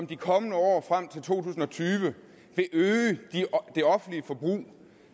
de kommende år frem til to tusind og tyve vil øge det offentlige forbrug